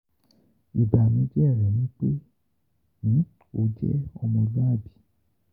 Ibanujẹ rẹ ni pe o jẹ ti omoluabi.